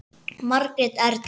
Margrét Erla.